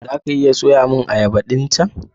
Za ka iya soya min ayaba ɗin chan?